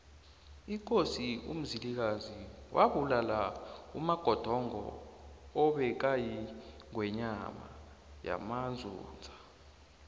ikosi umzilikazi wabulala umagodongo obekayingwenyama yamanzunza